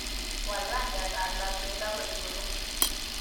Waal rangyatab labkeindo koek buluu